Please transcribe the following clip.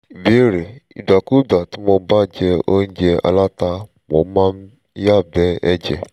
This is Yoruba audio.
ìbéèrè: ìgbàkúùgbà tí mo bá jẹ óúnjẹ aláta mo máa ń yàgbé ẹ̀jẹ̀